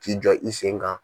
K'i jɔ i sen kan.